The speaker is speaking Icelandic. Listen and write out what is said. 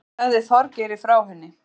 Ég sagði Þorgeiri frá henni.